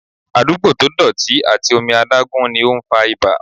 Àdúgbò to dọ̀tí àti omi adágún ni ó ń fa ibà.